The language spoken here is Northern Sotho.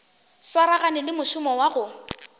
swaragane le mošomo wa go